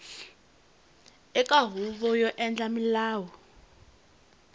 eka huvo yo endla milawu